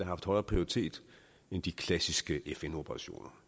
haft højere prioritet end de klassiske fn operationer